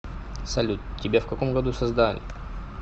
салют тебя в каком году создали